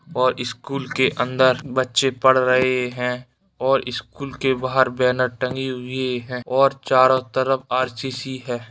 और स्कूल के अंदर बच्चे पढ़ रहे हैं और स्कूल के बाहर बेनर टंगी हुए हैं और चारों तरफ आर.सी.सी. है।